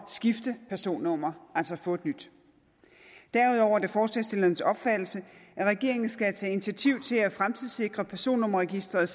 skifte personnummer altså få et nyt derudover er det forslagsstillernes opfattelse at regeringen skal tage initiativ til at fremtidssikre personnummerregisteret